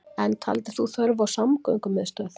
En taldir þú þörf á samgöngumiðstöð